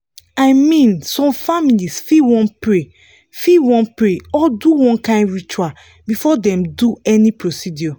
i mean some families fit wan pray fit wan pray or do one kind ritual before dem do any procedure